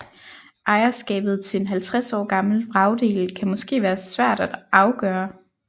Ejerskabet til en 50 år gammel vragdel kan måske være svært at afgøre